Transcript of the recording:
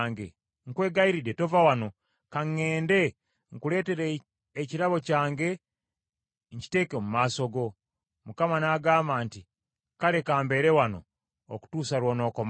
Nkwegayiridde, tova wano, ka ŋŋende nkuleetere ekirabo kyange nkiteeke mu maaso go.” Mukama n’agamba nti, “Kale kambeere wano okutuusa lw’onookomawo.”